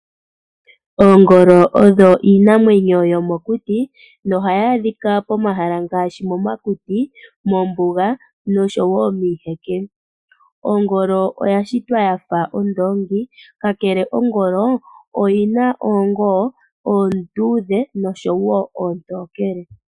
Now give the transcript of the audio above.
Oongolo odho iinamwenyo yo mokuti no hayi adhika pomahala ngaashi momakuti, mombuga no sho wo miiheke. Ongolo oya shitwa ya fa ondoongi ka kele ongolo oyina oongoo oondudhe no sho wo oontokele.